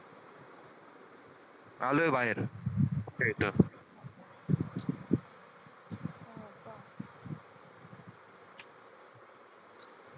आलोय बाहेर